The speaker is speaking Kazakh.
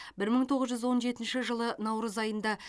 бір мың тоғыз жүз он жетінші жылы наурыз айында